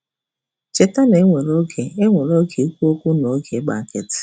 Cheta na e nwere oge e nwere oge um ikwu okwu na oge ịgbachi nkịtị.